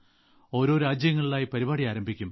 ഓരോ രാജ്യങ്ങളിലായി പരിപാടി ആരംഭിക്കും